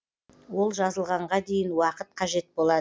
ол жазылғанға дейін уақыт қажет болады